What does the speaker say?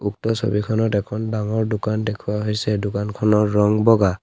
উক্ত ছবিখনত এখন ডাঙৰ দোকান দেখুওৱা হৈছে দোকানখনৰ ৰং বগা।